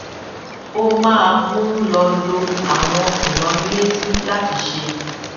ó máa ń lo lo àwọn ìránnilétí láti ṣe